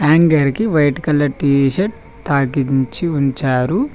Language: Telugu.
హ్యాంగర్కి వైట్ కలర్ టీ షర్ట్ తాకించి ఉంచారు.